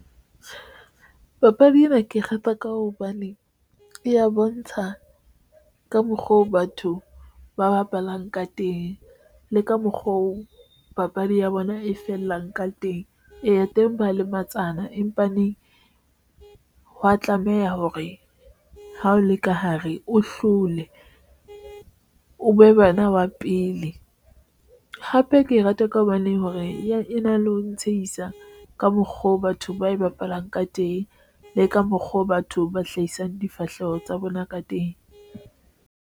Papadi ena ke rata ka hobane e ya bontsha ka mokgwa oo batho ba bapalang ka teng le ka mokgwa o papadi ya bona e fellang ka teng. Eya, teng ba lematsana empa neng e ha wa tlameha hore ha o le ka hare, o hlole o be bana wa pele hape ke rata ka hobaneng hore e na le ho ntshehisa ka mokgwa oo batho ba e bapalwang ka teng le ka mokgwa o batho ba hlahisang difahleho tsa bona ka teng.